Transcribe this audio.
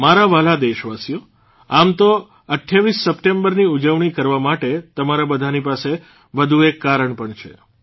મારા વ્હાલા દેશવાસીઓ આમ તો ૨૮ ડીસેંબરની ઉજવણી કરવા માટે તમારા બધાની પાસે વધુ એક કારણ પણ છે